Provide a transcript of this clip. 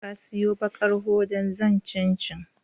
Ka siyon ɓakar hoda zan ci cincin